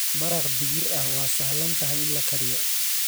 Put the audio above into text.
Maraq digir ah waa sahlan tahay in la kariyo.